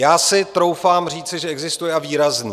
Já si troufám říci, že existuje, a výrazný.